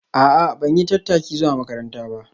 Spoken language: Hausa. A'a ban yi tattaki zuwa makaranta ba